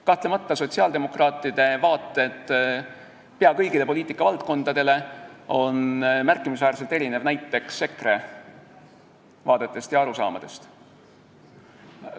Kahtlemata erinevad sotsiaaldemokraatide vaated pea kõigile poliitikavaldkondadele märkimisväärselt näiteks EKRE vaadetest ja arusaamadest.